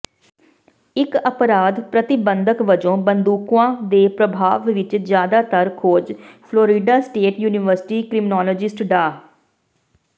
ਇਕ ਅਪਰਾਧ ਪ੍ਰਤੀਬੰਧਕ ਵਜੋਂ ਬੰਦੂਕਾਂ ਦੇ ਪ੍ਰਭਾਵ ਵਿਚ ਜ਼ਿਆਦਾਤਰ ਖੋਜ ਫਲੋਰੀਡਾ ਸਟੇਟ ਯੂਨੀਵਰਸਿਟੀ ਕਰਿਮਨਲੋਜਿਸਟ ਡਾ